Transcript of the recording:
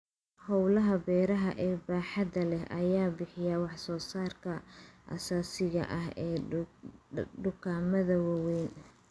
Hawlaha beeraha ee baaxadda leh ayaa bixiya wax soo saarka aasaasiga ah ee dukaamada waaweyn.